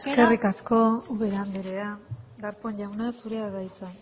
eskerrik asko ubera andrea darpón jauna zurea da hitza